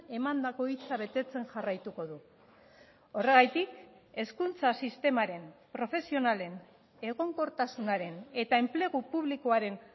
emandako hitza betetzen jarraituko du horregatik hezkuntza sistemaren profesionalen egonkortasunaren eta enplegu publikoaren